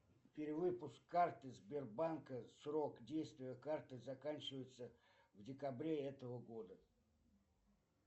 перевыпуск карты сбербанка срок действия карты заканчивается в декабре этого года